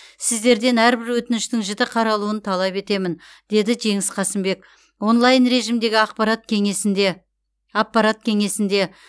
сіздерден әрбір өтініштің жіті қаралуын талап етемін деді жеңіс қасымбек онлайн режимдегі ақпарат кеңесінде аппарат кеңесінде